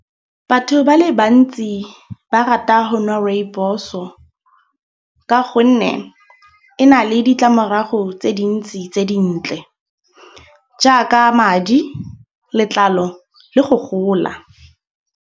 Batho ba le bantsi ba rata ho nwa rooibos-o. Ka gonne e na le ditlamorago tse dintsi tse dintle. Jaaka madi, letlalo le go gola.